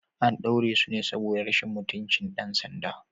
An daure su ne saboda rashin mutunci ɗan sanda.